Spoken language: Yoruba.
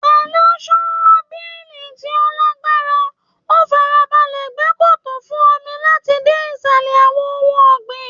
Pẹ̀lú sọ́bìrì tí ó lágbára, ó farabalẹ̀ gbẹ́ kòtò fún omi láti dé ìsàlẹ̀ àwọn ohun ọ̀gbìn